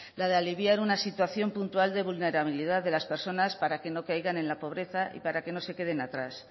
la de aliviar una situación puntual de vulnerabilidad de las personas para que no caigan en la pobreza y para que no se queden atrás